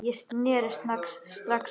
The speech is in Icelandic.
Ég sneri strax við.